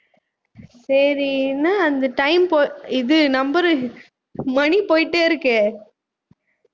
சரி என்னா அந்த time போ~ இது number உ மணி போயிட்டே இருக்கே